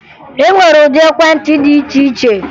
E nwere ụdị ekwentị dị iche iche